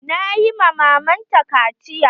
Na yi ma maman ta kaciya.